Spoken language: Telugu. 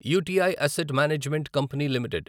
UTI asset management company limited